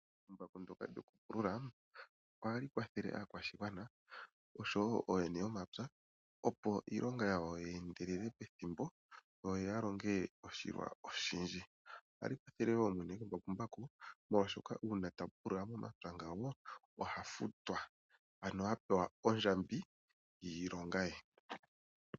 Embakumbaku lyoku pulula ohali kwathele aakwashigwana oshowo ooyene yomapya opo iilonga yawo yi ningwe pethimbo yo yalonge oshilwa oshindji. Ohali kwathele woo mwene gwembakumbaky molwaashoka uuna tali pulula momapya ngawo ohafutwa ano hapeqa ondjambi yiilonga ye.